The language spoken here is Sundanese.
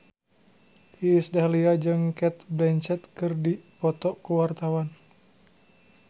Iis Dahlia jeung Cate Blanchett keur dipoto ku wartawan